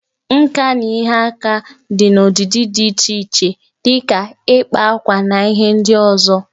Nka na ihe aka mere dị n'ọdịdị dị iche iche dị ka ịkpa akwa na ihe ndị ọzọ